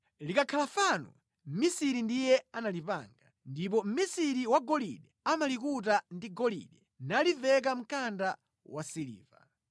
Likakhala fano, mʼmisiri ndiye analipanga ndipo mʼmisiri wa golide amalikuta ndi golide naliveka mkanda wasiliva.